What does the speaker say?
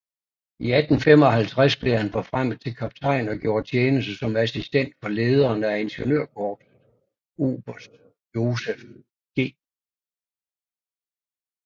I 1855 blev han forfremmet til kaptajn og gjorde tjeneste som assistent for lederen af ingeniørkorpset oberst Joseph G